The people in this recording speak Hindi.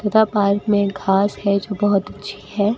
था पार्क में एक घास है जो बहोत अच्छी है।